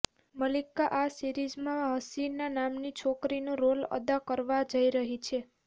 મલ્લિકા આ સીરિઝમાં હસીના નામની છોકરીનો રોલ અદા કરવા જઈ રહી છે